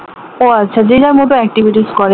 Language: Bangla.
ও আচ্ছা যে যার মত activities করে